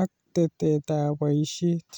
ak tetetab boisiet."